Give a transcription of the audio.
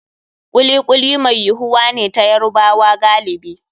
Kuli kuli mai yuwuwa ne ta Yarubawa galibi.